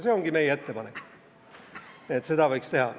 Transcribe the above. Meie ettepanek on, et seda võiks teha.